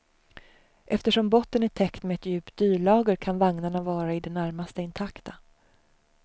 Eftersom botten är täckt med ett djupt dylager kan vagnarna vara i det närmaste intakta.